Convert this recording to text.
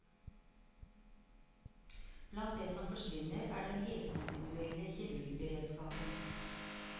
Blant det som forsvinner, er den helkontinuerlige kirurgberedskapen.